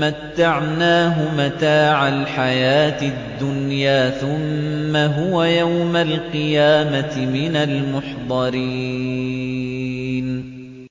مَّتَّعْنَاهُ مَتَاعَ الْحَيَاةِ الدُّنْيَا ثُمَّ هُوَ يَوْمَ الْقِيَامَةِ مِنَ الْمُحْضَرِينَ